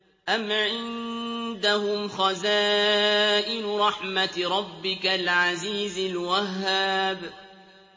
أَمْ عِندَهُمْ خَزَائِنُ رَحْمَةِ رَبِّكَ الْعَزِيزِ الْوَهَّابِ